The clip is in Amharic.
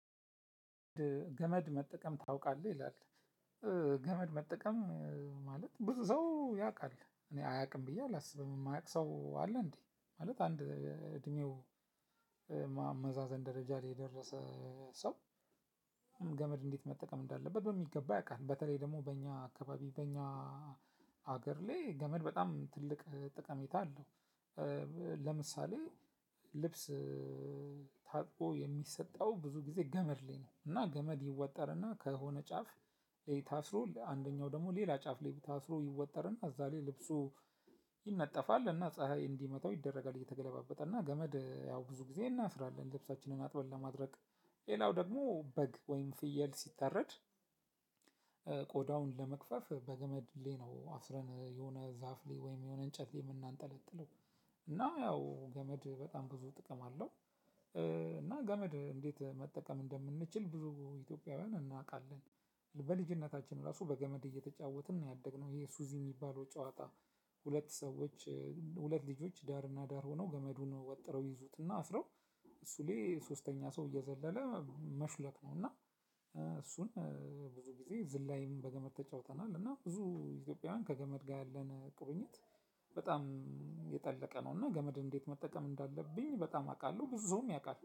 ገመድ መጠቀም ታውቃለህ ይላል። ገመድ መጠቀም ማለት ብዙ ሰው ያቃል እኔ አያቅም ብያ አላስብም ማያቅ ሰው አለ። እንዴ ማለት አንድ እድሜው ማመዛዘን ደረጃ ላይ የደረሰ ሰው። ገመድ እንዴት መጠቀም እንዳለበት በሚገባ ያቃል በተለይ ደግሞ በእኛ አካባቢ በእኛ ሀገር ላይ ገመድ በጣም ትልቅ ጠቀሜታ አለው። ለምሳሌ ልብስ ታጥቆ የሚሰጠው ብዙ ጊዜ ገመድ ላይ ነው። እና ገመድ ይወጠርና ከሆነ ጫፍ ላይ አስሮ አንደኛው ደግሞ ሌላ ጫፍ ላይ ታስሮ ይወጠርና እዛ ላይ ልብሱ ይነጠፋል። እና ፀሀይ እንዲመታው ይደረጋል እየተገለባበጠ እና ገመድ ያው ብዙ ጊዜ እናስራለን ልብሳችንን አጥበን ለማድረቅ። ሌላው ደግሞ በግ ወይም ፍየል ሲታረድ። ቆዳውን ለመግፈፍ በገመድ ላይ ነው አስረን የሆነ ዛፍ ላይ ወይም የሆነ እንጨት ላይ የምናንጠለጥለው እና ያው ገመድ በጣም ብዙ ጥቅም አለው። እና ገመድ እንዴት መጠቀም እንደምንችል ብዙ ኢትዮጵያውያን እናቃለን። በልጅነታችን ራሱ በገመድ እየተጫወትን ነው ያደግነው ይሄ ሱዚ ሚባለው ጨዋታ። ሁለት ሰዎች ሁለት ልጆች ዳርና ዳር ሆነው ገመዱን ወጥረው ይዙትና አስረው። እሱ ላይ ሶስተኛ ሰው እየዘለለ መሹለክ ነው እና። እሱን ብዙ ጊዜ ዝላይም በገመድ ተጫውተናል። እና ብዙ ኢትዮጵያውያን ከገመድ ጋር ያለን ቁርኝት በጣም የጠለቀ ነው። እና ገመድ እንዴት መጠቀም እንዳለብኝ በጣም አቃለሁ ብዙም ሰው ያቃል